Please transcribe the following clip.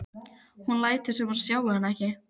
Hún lætur sem hún sjái hann ekki.